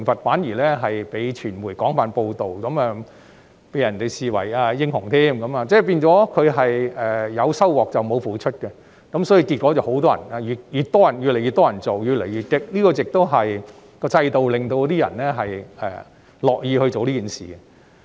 反而有關行為被傳媒廣泛報道後，那些議員被人視為英雄，變相有收穫而沒有付出，結果越來越多人這樣做，行為越來越激烈，因為制度令人樂於做此事。